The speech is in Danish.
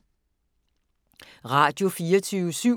Radio24syv